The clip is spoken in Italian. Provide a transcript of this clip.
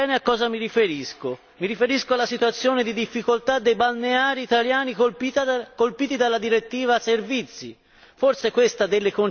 Commissario Barnier, lei sa bene a cosa mi riferisco mi riferisco alla situazione di difficoltà dei balneari italiani colpiti dalla direttiva Servizi.